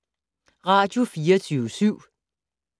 Radio24syv